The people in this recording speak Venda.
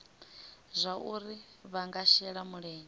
zwauri vha nga shela mulenzhe